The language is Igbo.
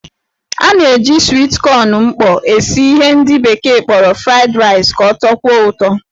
A na-eji swit kọn mkpọ esi ihe ndị bekee kpọrọ fried rice ka ọ tọkwuo ụtọ.